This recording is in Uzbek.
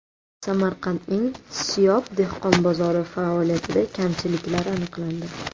Samarqandning Siyob dehqon bozori faoliyatida kamchiliklar aniqlandi.